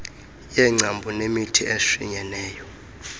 yengcambu nemithi eshinyeneyo